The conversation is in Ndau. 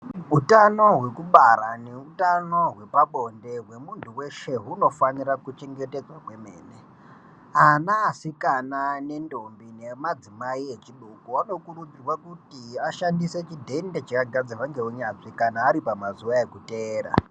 Utano hwekubara neutano hwepabonde hwemunhu weshe hunofanira kuchengetedzwa kwemene. Ana asikana nentombi nemadzimai echidoko vanokurudzirwa kuti ashandise chidhende chakagadzirwa ngeunyanzvi kana ari pamazuwa ekuteera.